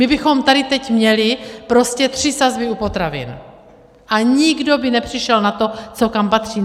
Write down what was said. My bychom tady teď měli prostě tři sazby u potravin a nikdo by nepřišel na to, co kam patří.